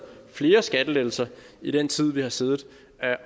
flere skattelettelser i den tid vi har siddet